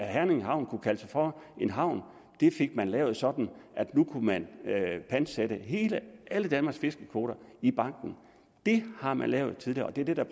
herning havn kunne kalde sig for en havn fik man lavet sådan at nu kunne man pantsætte alle danmarks fiskekvoter i banken det har man lavet tidligere og det er det der